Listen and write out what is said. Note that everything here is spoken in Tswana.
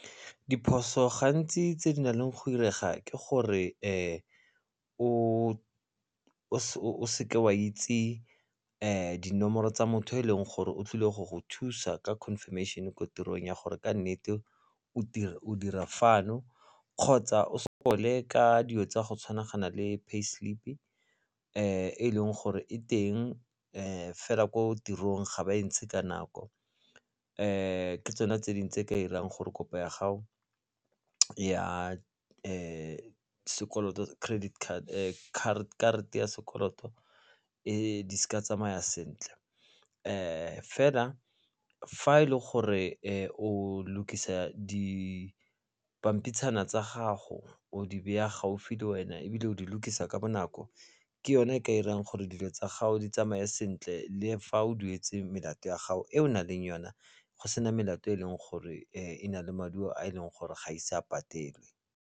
Diphoso gantsi tse di nang le go direga ke gore o seke wa itse dinomoro tsa motho eleng gore o tlile go go thusa ka confirmation ko tirong ya gore ke nnete o dira fano kgotsa o sokole ka dilo tsa go tshwanagana le pay slip-i e leng gore e teng fela ko tirong ga ba e ntshe ka nako. Ke tsona tse dingwe tse di ka irang gore kopo ya gago ke ya sekoloto karata ya sekoloto di se ka tsamaya sentle fela fa e le gore o lukisa di pampitshana tsa gago o di beya gaufi le wena ebile o di lukisa ka bonako ke yone e ka irang gore dilo tsa gago di tsamaye sentle le fa o duetse melato ya gago e o naleng yona go sena melato e leng gore e na le maduo a e leng gore ga ise a patelwe.